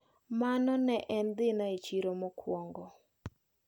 Mano ne en dhina e chiro mokuongo.